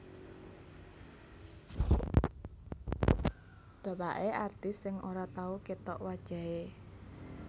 Bapake artis sing ora tau ketok wajahe